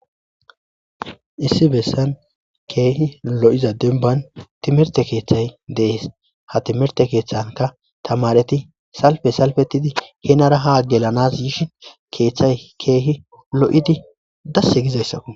Issi bessan kehi lo'iza demiban timmirte keththay de'es ha timmirte keththanika tamareti salife salifetidi henara ha gelanas yishe keththay kehi lo'idi desi gizayisako.